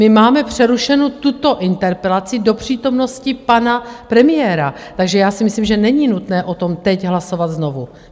My máme přerušenu tuto interpelaci do přítomnosti pana premiéra, takže já si myslím, že není nutné o tom teď hlasovat znovu.